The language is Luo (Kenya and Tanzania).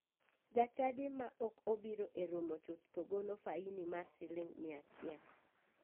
Jachadi ma ok obiro e romo chuth to golo faini mar siling miya achiel.